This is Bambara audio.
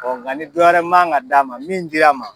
Ɔ nga ni dɔ wɛrɛ man ga d'a ma min dir'a ma